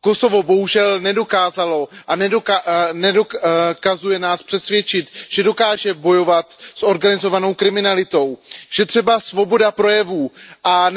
Kosovo bohužel nedokázalo a nedokazuje nás přesvědčit, že dokáže bojovat s organizovanou kriminalitou, že třeba svoboda projevu a